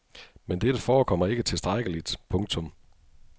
Men dette forekommer ikke tilstrækkeligt. punktum